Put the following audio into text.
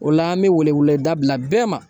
O la an bɛ wele-weleda bila bɛɛ ma